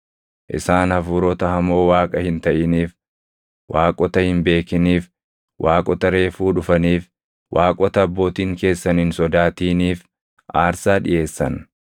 Isaan hafuurota hamoo Waaqa hin taʼiniif, waaqota hin beekiniif, waaqota reefuu dhufaniif, waaqota abbootiin keessan hin sodaatiiniif aarsaa dhiʼeessan.